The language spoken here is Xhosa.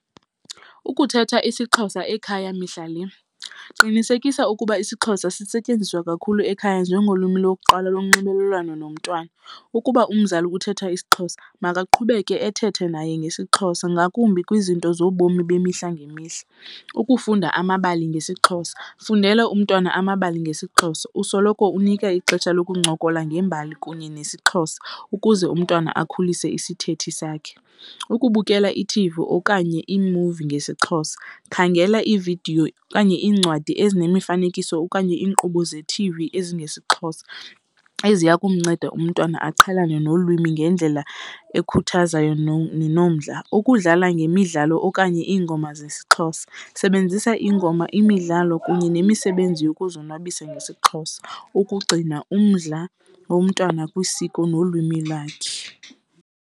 Ukuthetha isiXhosa ekhaya mihla le, qinisekisa ukuba isiXhosa sisetyenziswe kakhulu ekhaya njengolwimi lokuqala lonxibelelwano nomntwana. Ukuba umzali uthetha isiXhosa makaqhubeke ethethe naye ngesiXhosa ngakumbi kwizinto zobomi bemihla ngemihla. Ukufunda amabali ngesiXhosa, fundela umntwana amabali ngesiXhosa usoloko unika ixesha lokuncokola ngembali kunye nesiXhosa ukuze umntwana akhulise isithethi sakhe. Ukubukela ithivi okanye iimuvi ngesiXhosa, khangela iividiyo okanye iincwadi ezinemifanekiso okanye iinkqubo ze-T_V ezingesiXhosa eziya kumnceda umntwana aqhelane nolwimi ngendlela ekhuthazayo nenomdla. Ukudlala ngemidlalo okanye iingoma zesiXhosa, sebenzisa iingoma, imidlalo kunye nemisebenzi yokuzonwabisa ngesiXhosa ukugcina umdla womntwana kwisiko nolwimi lwakhe.